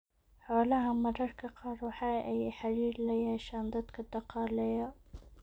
Xolaha mararka qaar waxaa aay xariir layeeshaan dadka daqaaleeya.